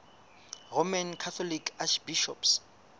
roman catholic archbishops